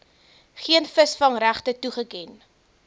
geen visvangregte toegeken